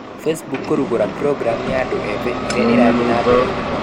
Facebook kũgũra programu ya andũ ethĩ ĩrĩa ĩrathiĩ na mbere mũno.